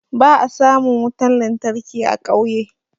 Ba'a samun wutan lantarki a ƙauye.